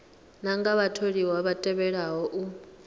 nganga vhatholiwa vha tevhelaho u